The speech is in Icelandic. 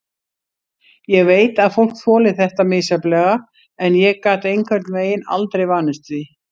Ég veit að fólk þolir þetta misjafnlega en ég gat einhvern veginn aldrei vanist því.